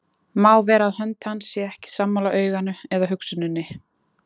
Má vera að hönd hans sé ekki sammála auganu eða hugsuninni.